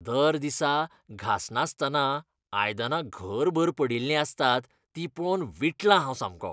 दर दिसा घासनासतना आयदनां घरभर पडिल्लीं आसतात तीं पळोवन विटलां हांव सामकों.